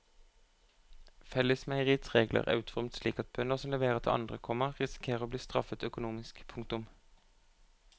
Fellesmeieriets regler er utformet slik at bønder som leverer til andre, komma risikerer å bli straffet økonomisk. punktum